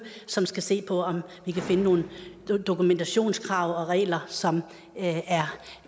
som skal se på om vi kan finde nogle dokumentationskrav og regler som er